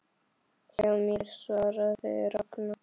Hjá mér? svaraði Ragna.